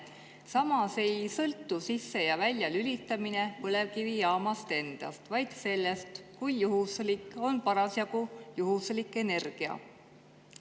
Samas ei sõltu sisse‑ ja väljalülitamine põlevkivijaamast endast, vaid sellest, on juhuslikult parasjagu energia.